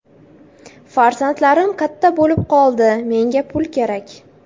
Farzandlarim katta bo‘lib qoldi, menga pul kerak”.